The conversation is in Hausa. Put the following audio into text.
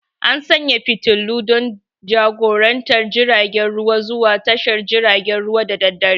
An sanye da fitilun don jagorantar jiragen ruwa zuwa tashar jiragen ruwa da daddare.